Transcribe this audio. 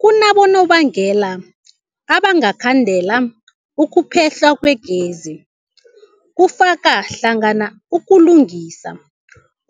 Kunabonobangela abangakhandela ukuphehlwa kwegezi, kufaka hlangana ukulungisa,